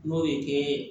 N'o ye kɛ